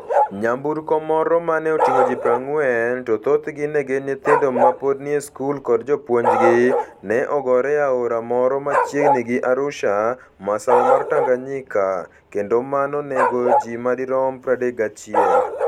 nyamburko moro ma ne oting'o ji 40, to thothgi ne gin nyithindo ma pod nie skul kod jopuonjgi, ne ogore e aora moro machiegni gi Arusha, masawa mar Tanganyika, kendo mano ne onego ji ma dirom 31.